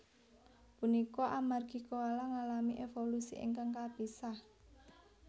Punika amargi koala ngalami évolusi ingkang kapisah